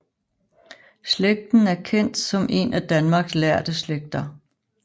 Slægten er kendt som en af Danmarks lærde slægter